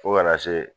Fo kana se